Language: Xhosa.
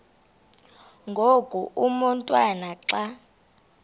ngoku umotwana xa